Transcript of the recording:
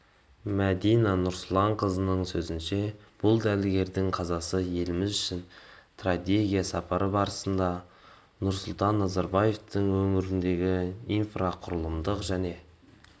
мәдина нұрсұланқызының сөзінше бұл дәрігердің қазасы еліміз үшін трагедия сапар барысында нұрсұлтан назарбаевтың өңірдегі инфрақұрылымдық және